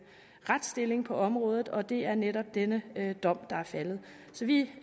retsstilling på området og det er netop denne dom der er faldet så vi